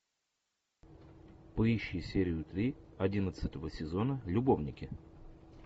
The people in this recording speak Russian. поищи серию три одиннадцатого сезона любовники